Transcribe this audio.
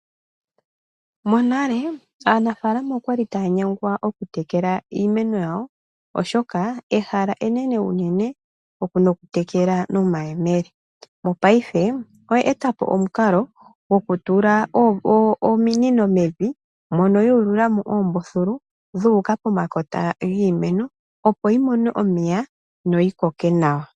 Monale aanafalama okwali taya nyengwa okutekela iimeno yawo, oshoka ehala enene unene nokutekela nomayemele. Mongashingeyi oya eta po omukalo gwokutula ominino mevi mono yu ulula mo oombuthulu dhu uka pomakota giimeno, opo yi mone omeya noyi koke nawa.